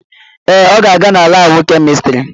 Ee, ọ ga-aga na laabụ kemịstrị.